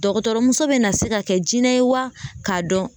Dɔgɔtɔrɔmuso bɛ na se ka kɛ jinɛ ye wa k'a dɔn